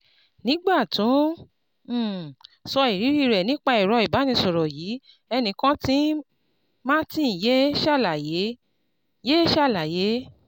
Nígbà tó n um sọ ìrírí rẹ̀ nípa ẹ̀rọ ìbánisọ̀rọ̀ yìí, ẹni kàn tí n Martin yé ṣàlàyé yé ṣàlàyé